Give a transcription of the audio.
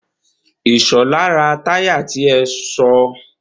Ìṣọ̀lá ti ra táyà ti ẹ sọ.